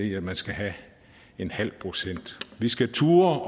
i at man skal have en halv procent vi skal turde